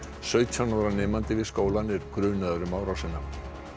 sautján ára nemandi við skólann er grunaður um árásina